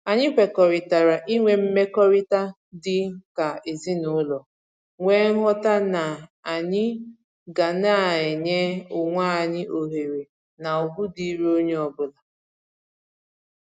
Anyị kwekọrịtara inwe mmekọrịta dịka ezinụlọ nwee nghọta n'anyị ga na-enye onwe anyị ohere na ugwu dịịrị onye ọbụla